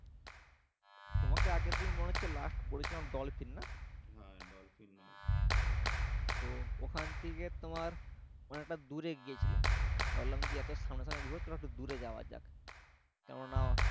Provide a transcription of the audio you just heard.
তোমাকে আগের দিন মনে হচ্ছে last বলেছিলাম ডলফিন না? তো ওখান থেকে তোমার অনেকটা দূরে গিয়েছিলাম ভাবলাম যে এত সামনে সামনে ঘুরবনা তাহলে একটু দূরে যাওয়া যাক কেননা